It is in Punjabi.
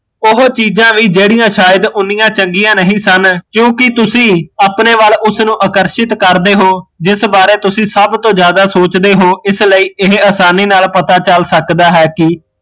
ਉਹ ਚੀਜ਼ਾਂ ਵੀ ਜਿਹੜੀਆ ਸ਼ਾਇਦ ਉਨੀਆ ਚੰਗੀਆ ਨਹੀਂ ਸਨ ਕਿਓਕਿ ਤੁਸੀਂ ਉਸਨੂ ਅਪਣੇ ਵੱਲ ਆਕਰਸ਼ਿਤ ਕਰਦੇ ਹੋ ਜਿਸ ਬਾਰੇ ਤੁਸੀਂ ਸਭ ਸੋਚਦੇ ਹੋ ਇਸ ਨਾਲ਼ ਇਹ ਅਸਾਨੀ ਨਾਲ਼ ਪਤਾ ਚੱਲ ਸਕਦਾ ਹੈ ਕੀ